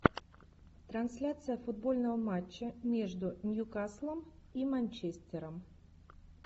трансляция футбольного матча между ньюкаслом и манчестером